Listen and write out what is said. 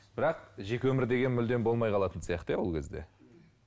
бірақ жеке өмір деген мүлдем болмай қалатын сияқты иә ол кезде